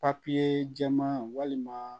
papiye jɛman walima